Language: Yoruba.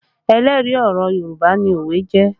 Ẹlẹ́rìí ọ̀rọ̀ Yorùbá ni òwe jẹ́